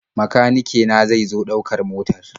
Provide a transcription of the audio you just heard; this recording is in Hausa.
Makanike na zai zo ɗaukar motar.